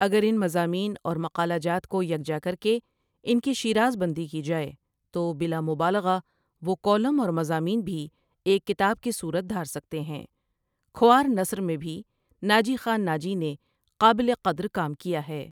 اگر ان مضامین اور مقالہ جات کو یکجا کرکے ان کی شیرازبندی کی جاۓ تو بلامبالغہ وہ کالم اور مضامین بھی ایک کتاب کی صورت دھار سکتے ہیں کھوار نثر میں بھی ناجی خان ناجی نے قابل قدر کام کیا ہے ۔